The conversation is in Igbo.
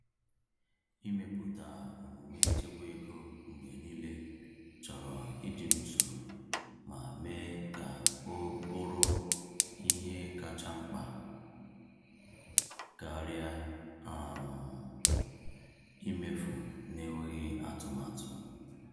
Ịmepụta omume ịchekwa ego mgbe niile chọrọ ịdị n’usoro ma mee ka o bụrụ ihe kacha mkpa karịa um imefu n’enweghị atụmatụ.